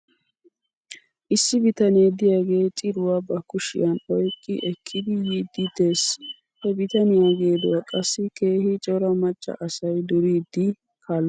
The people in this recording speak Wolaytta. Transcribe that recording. Issi bitanee de'iyaagee ciruwaa ba kushiyan oyqqi ekkidi yiiddi des. He bitaniyaa geeduwaa qassi keehi cora macca asay duriiddi kaaloosona.